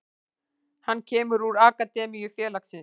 Hann kemur úr akademíu félagsins.